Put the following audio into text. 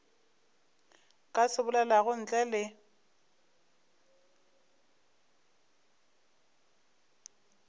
ka se bolelago ntle le